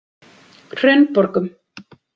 Hraunborgum